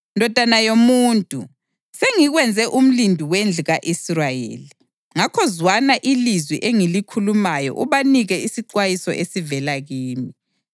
Ndodana yomuntu, sengikwenze umlindi wendlu ka-Israyeli; ngakho zwana ilizwi engilikhulumayo ubanike isixwayiso esivela kimi.